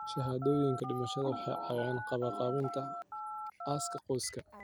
Shahaadooyinka dhimashada waxay caawiyaan qabanqaabinta aaska qoyska.